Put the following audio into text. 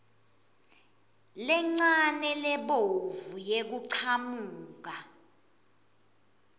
lencane lebovu yekuchamuka